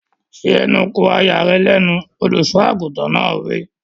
Fi ẹnu kò aya rẹ lẹ́nu! Olùsọ àgùntàn náà wí.